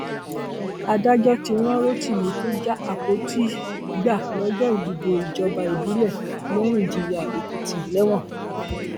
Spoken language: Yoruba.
adájọ ti rán rotimi tó já àpótí gbà lọjọ ìdìbò ìjọba ìbílẹ lẹrìnjiyànèkìtì lẹwọn